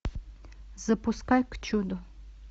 запускай к чуду